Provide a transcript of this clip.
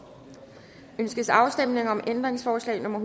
ønskes afstemning om ændringsforslag nummer